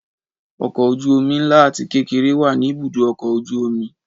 Ọkọ̀ ojú omi ńlá àti kékeré wá ní ibùdó ọkọ̀ ojú omi